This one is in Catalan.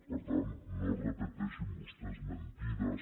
per tant no repeteixin vostès mentides